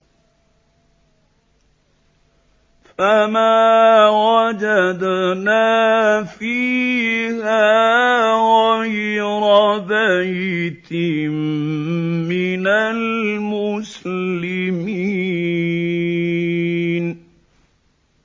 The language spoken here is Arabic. فَمَا وَجَدْنَا فِيهَا غَيْرَ بَيْتٍ مِّنَ الْمُسْلِمِينَ